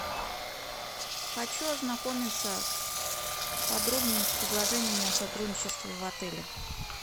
хочу ознакомиться подробнее с предложениями о сотрудничестве в отеле